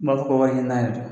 fɔ ko wariɲinina yɛrɛ